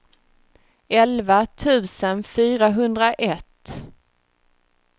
elva tusen fyrahundraett